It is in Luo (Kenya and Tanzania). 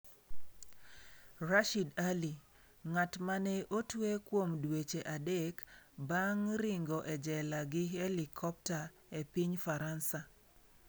Rashid Ali: Ng'at ma ne otwe kuom dweche adek bang' ringo e jela gi helikopta e piny Faransa